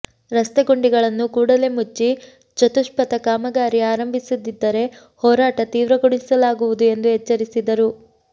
ರಸ್ತೆ ಗುಂಡಿಗಳನ್ನು ಕೂಡಲೇ ಮುಚ್ಚಿ ಚತುಷ್ಪಥ ಕಾಮಗಾರಿ ಆರಂಭಿಸದಿದ್ದರೆ ಹೋರಾಟ ತೀವ್ರಗೊಳಿಸಲಾಗುವುದು ಎಂದು ಎಚ್ಚರಿಸಿದರು